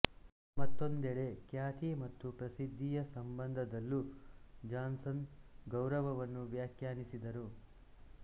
ಮತ್ತೊಂದೆಡೆ ಖ್ಯಾತಿ ಮತ್ತು ಪ್ರಸಿದ್ಧಿಯ ಸಂಬಂಧದಲ್ಲೂ ಜಾನ್ಸನ್ ಗೌರವವನ್ನು ವ್ಯಾಖ್ಯಾನಿಸಿದನು